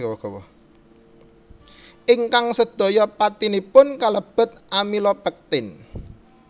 Ingkang sedaya patinipun kalebet amilopektin